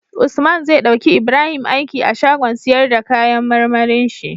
Usman zai dauki Ibrahim aiki a shagon siyar da kayan marmarin shi